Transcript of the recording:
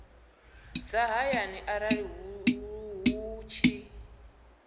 dza hayani arali hu tshi